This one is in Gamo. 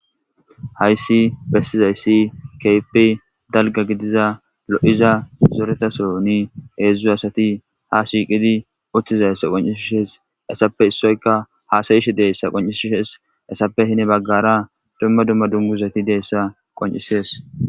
Hayssi bessizayssi keypi dalga gidiza lo7iza zoretaso ni heedzdzu asati ha shiiqidi uchthizayssa qoncishishes essappe issoyka haasayishi deessa qoncishishees essappe hine baggara dumma dumma dunguzati deyssa qoncisees.